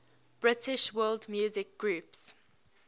british world music groups